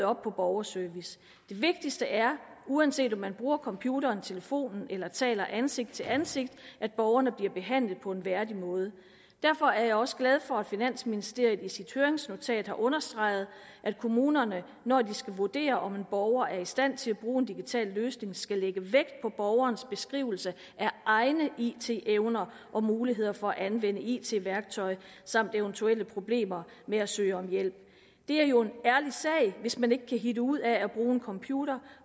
op på borgerservice det vigtigste er uanset om man bruger computeren telefonen eller taler ansigt til ansigt at borgerne bliver behandlet på en værdig måde derfor er jeg også glad for at finansministeriet i sit høringsnotat har understreget at kommunerne når de skal vurdere om en borger er i stand til at bruge en digital løsning skal lægge vægt på borgerens beskrivelse af egne it evner og muligheder for at anvende it værktøj samt eventuelle problemer med at søge om hjælp det er jo en ærlig sag hvis man ikke kan hitte ud af at bruge en computer